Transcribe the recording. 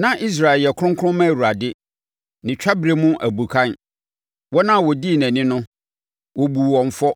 Na Israel yɛ kronkron ma Awurade, ne twaberɛ mu abukan; wɔn a wɔdii nʼani no, wɔbuu wɔn fɔ,